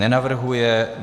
Nenavrhuje.